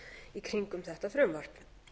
í kringum þetta frumvarp